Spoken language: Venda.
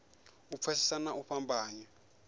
u pfesesa na u fhambanya